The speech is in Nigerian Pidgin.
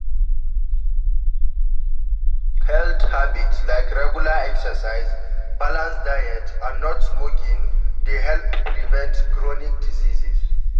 Health habits like regular exercise, balanced diet and not smoking dey help prevent chronic diseases.